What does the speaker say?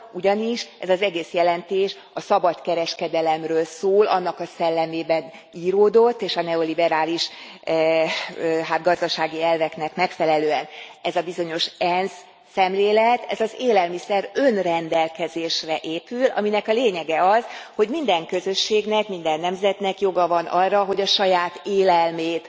Ugyanis ez az egész jelentés a szabadkereskedelemről szól, annak a szellemében íródott, és a neoliberális gazdasági elveknek megfelelően. Ez a bizonyos ENSZ szemlélet, ez az élelmiszer önrendelkezésre épül, aminek a lényege az, hogy minden közösségnek, minden nemzetnek joga van arra, hogy a saját élelmét